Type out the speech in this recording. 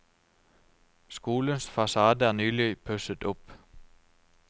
Skolens fasade er nylig pusset opp.